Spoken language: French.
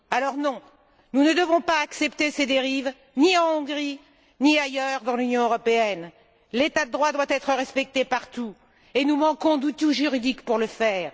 Alors, non, nous ne devons pas accepter ces dérives, ni en Hongrie, ni ailleurs dans l'Union européenne. L'état de droit doit être respecté partout et nous manquons d'outils juridiques pour le faire.